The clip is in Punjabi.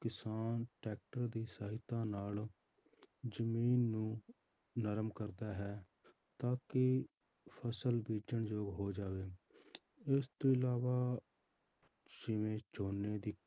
ਕਿਸਾਨ ਟਰੈਕਟਰ ਦੀ ਸਹਾਇਤਾ ਨਾਲ ਜ਼ਮੀਨ ਨੂੰ ਨਰਮ ਕਰਦਾ ਹੈ ਤਾਂ ਕਿ ਫਸਲ ਬੀਜ਼ਣ ਯੋਗ ਹੋ ਜਾਵੇ ਇਸ ਤੋਂ ਇਲਾਵਾ ਜਿਵੇਂ ਝੋਨੇ ਦੀ